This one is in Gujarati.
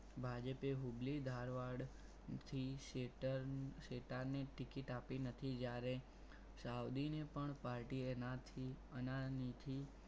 ભાજપે હુબલી ધારવડ થી શેતાર શેતાર ની ticket આપી નથી જ્યારે સાવધિને પણ party એના થી અનાની થી